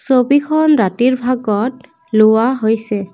ছবিখন ৰাতিৰ ভাগত লোৱা হৈছে।